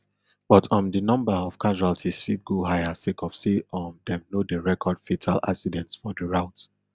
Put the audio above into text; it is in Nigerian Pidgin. but um di number of casualties fit go higher sake of say um dem no dey record fatal accidents for di route